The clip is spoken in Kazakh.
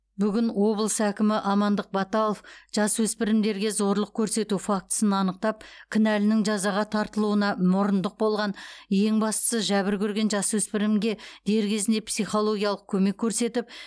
бүгін облыс әкімі амандық баталов жасөспірімдерге зорлық көрсету фактісін анықтап кінәлінің жазаға тартылуына мұрындық болған ең бастысы жәбір көрген жасөспірімге дер кезінде психологиялық көмек көрсетіп